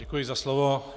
Děkuji za slovo.